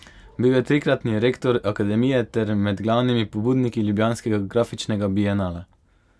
Bil je trikratni rektor akademije ter med glavnimi pobudniki Ljubljanskega grafičnega bienala.